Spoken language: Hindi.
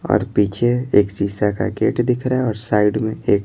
और पीछे एक शीशा का गेट दिख रहा है और साइड में एक--